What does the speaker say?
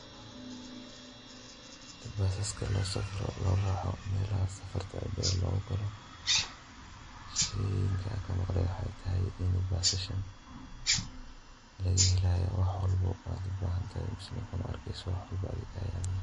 Basaska lo safroo lo raaco meelaha, safarta dheer lo galoh sethe waxay bahashan in laghelayoh waxa walba oo ubahantay mise waxwalbo oo Ayan.